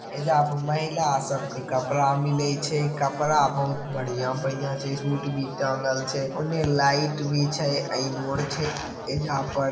एजा पर महिला सबके कपड़ा मिले छै कपड़ा बहुत बढ़िया-बढ़िया छै सूट भी टांगल छै ओने लाइट भी छै एनो आर छै एजा पर।